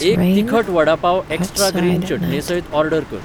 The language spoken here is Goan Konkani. एक तिखट वडापाव एक्स्ट्रा ग्रीन चटणेसयत ऑर्डर कर